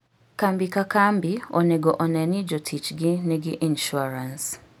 Kambi ka kambi onego one ni jotichgi nigi insuarans.